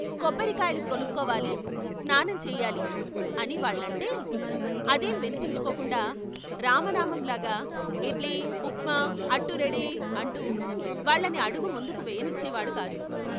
' కొబ్బరికాయలు కొనుక్కోవాలి స్నానం చేయాలి ' అని వాళ్ళంటే అదేం విన్పించుకోకుండా రామనామంలాగా "ఇడ్లీ, ఉప్మా, అట్టు రెడీ " అంటూ వాళ్ళని అడుగు ముందుకు వెయ్యనిచ్చేవాడు కాదు.